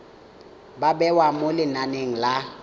ba bewa mo lenaneng la